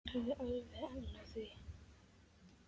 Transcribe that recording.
Hafði alveg efni á því.